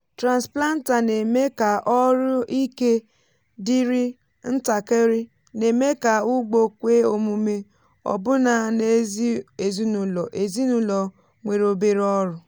transplanter na-eme ka ọrụ ike dịrị ntakịrị na-eme ka ugbo kwe omume ọbụna n’ezi ezinụlọ ezinụlọ nwere obere ọrụ.